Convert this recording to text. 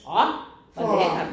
Orh hvor lækkert!